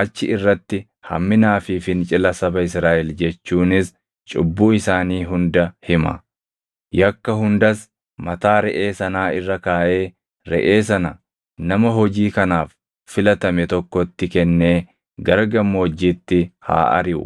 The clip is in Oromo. achi irratti hamminaa fi fincila saba Israaʼel jechuunis cubbuu isaanii hunda hima. Yakka hundas mataa reʼee sanaa irra kaaʼee reʼee sana nama hojii kanaaf filatame tokkotti kennee gara gammoojjiitti haa ariʼu.